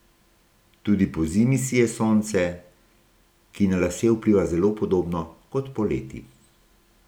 Tudi pozimi sije sonce, ki na lase vpliva zelo podobno kot poleti.